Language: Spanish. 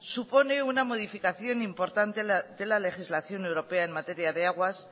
supone una modificación importante de la legislación europea en materia de aguas